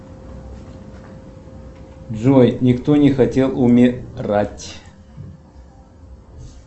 джой никто не хотел умирать